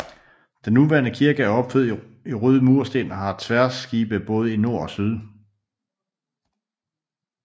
Den nuværende kirke er opført i røde mursten og har tværskibe både i nord og syd